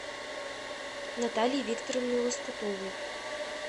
натальи викторовны лоскутовой